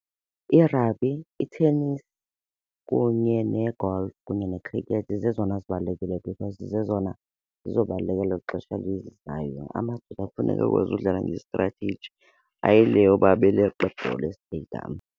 I-rugby, i-tennis kunye ne-golf kunye ne-cricket zezona zibalulekileyo because zezona zizobaluleka kwelo xesha lizayo. Amadoda kufuneka akwazi udlala nge-strategy, hayi le yoba beleqa ibhola estediyam.